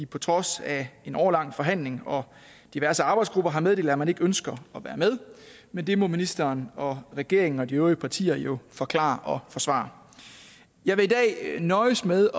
på trods af en årelang forhandling og diverse arbejdsgrupper har meddelt at man ikke ønsker at være med men det må ministeren og regeringen og de øvrige partier jo forklare og forsvare jeg vil i dag nøjes med